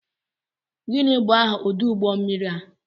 Gịnị bụ aha ọdụ ụgbọ mmiri a?